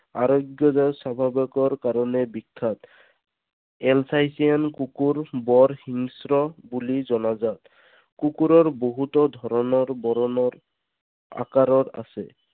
স্বভাৱৰ কাৰণে বিখ্যাত। Alsatian কুকুৰ বৰ হিংস্ৰ বুলি জনাজাত। কুকুৰ বহুতো ধৰণৰ, বৰণৰ, আকাৰৰ আছে।